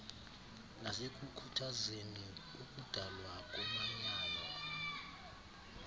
nasekukhuthazeni ukudalwa komanyano